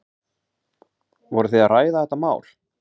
Voruð þið að ræða þetta mál?